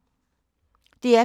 DR P2